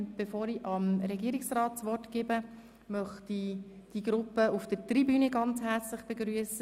Bevor ich das Wort dem Regierungsrat übergebe, möchte ich die Gruppe auf der Tribüne ganz herzlich begrüssen.